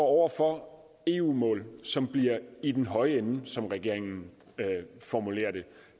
over for eu mål som bliver i den høje ende som regeringen formulerer det